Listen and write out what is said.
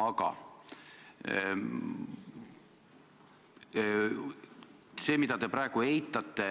Aga see, mida te praegu eitate,